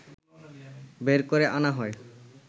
বের করে আনা হয়